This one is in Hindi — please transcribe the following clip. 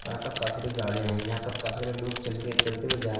औ यहां पर काफी गाड़ियां है यहां पर काफी सारे लोग चलके चलते हुए जा--